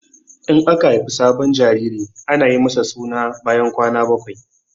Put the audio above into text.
In aka haifi sabon jariri ana yi masa suna bayan kwana bakwai.